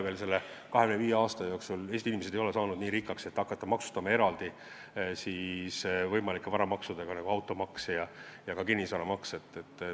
Selle 25 aasta jooksul ei ole Eesti inimesed saanud nii rikkaks, et neid võiks hakata maksustama võimalike varamaksudega, nagu automaks ja kinnisvaramaks.